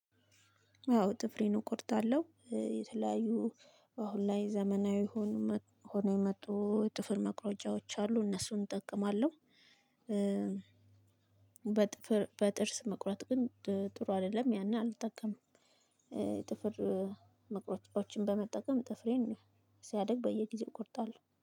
አዎ ጥፍሬን እቆርጣለሁ የተለያዩ አሁን ላይ ዘመናዊ ሆኖ የመጡ ጥፍር መቁረጫዎች አሉ እነሱን እጠቀማለሁ። በጥፍር በጥርስ መቁረጥ ግን ጥሩ አይደለም ያንን አልጠቀምም ጥፍር መቁረጫዎችን በመጠቀም ጥፍሬን ሲያድግ በየጊዜው እቆርጣለሁ።